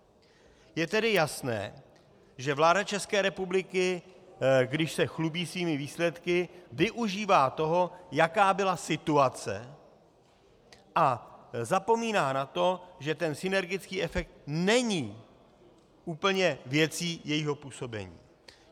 Je tedy jasné, že vláda České republiky, když se chlubí svými výsledky, využívá toho, jaká byla situace, a zapomíná na to, že ten synergický efekt není úplně věcí jejího působení.